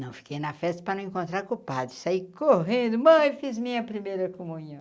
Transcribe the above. Não fiquei na festa para não encontrar com o padre, saí correndo, mãe, fiz minha primeira comunhão.